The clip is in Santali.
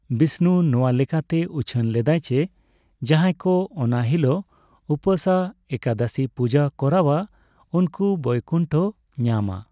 ᱵᱤᱥᱱᱩ ᱱᱚᱣᱟ ᱞᱮᱠᱟᱛᱮ ᱩᱪᱷᱟᱹᱱ ᱞᱮᱫᱟᱭ ᱡᱮ ᱡᱟᱸᱦᱟᱭ ᱠᱚ ᱚᱱᱟ ᱦᱤᱞᱳᱜ ᱩᱯᱟᱹᱥᱼᱟ ᱮᱠᱟᱫᱚᱥᱤ ᱯᱩᱡᱟᱹ ᱠᱚᱨᱟᱣᱼᱟ ᱩᱱᱠᱩ ᱵᱳᱭᱠᱩᱱᱴᱷᱚ ᱧᱟᱢᱼᱟ ᱾